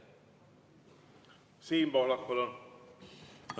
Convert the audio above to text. Siim Pohlak, palun!